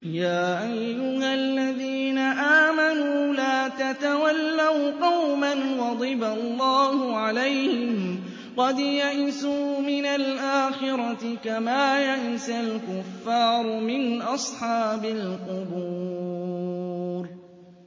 يَا أَيُّهَا الَّذِينَ آمَنُوا لَا تَتَوَلَّوْا قَوْمًا غَضِبَ اللَّهُ عَلَيْهِمْ قَدْ يَئِسُوا مِنَ الْآخِرَةِ كَمَا يَئِسَ الْكُفَّارُ مِنْ أَصْحَابِ الْقُبُورِ